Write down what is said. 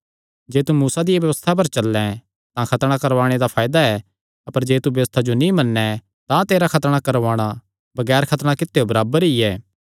जे तू मूसा दिया व्यबस्था पर चल्लैं तां खतणा करवाणे ते फायदा ऐ अपर जे तू व्यबस्था जो नीं मन्नैं तां तेरा खतणा करवाणा बगैर खतणा कित्यो बराबर ई ऐ